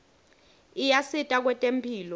ayasita kwetemphilo